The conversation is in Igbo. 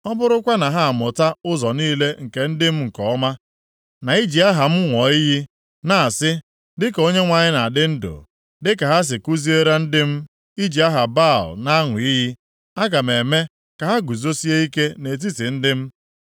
Ọ bụrụkwa na ha amụta ụzọ niile nke ndị m nke ọma, na iji aha m ṅụọ iyi, na-asị, ‘Dịka Onyenwe anyị na-adị ndụ,’ dịka ha si kuziere ndị m iji aha Baal na-aṅụ iyi, aga m eme ka ha guzosie ike nʼetiti ndị m.